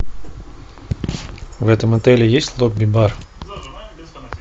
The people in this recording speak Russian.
в этом отеле есть лобби бар